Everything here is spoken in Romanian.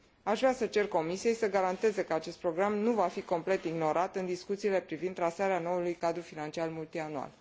Aș vrea să cer Comisiei să garanteze că acest program nu va fi complet ignorat în discuțiile privind trasarea noului cadru financiar multianual.